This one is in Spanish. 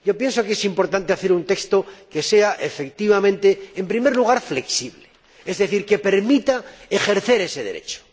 Pienso que es importante elaborar un texto que sea efectivamente, en primer lugar, flexible, es decir, que permita ejercer ese derecho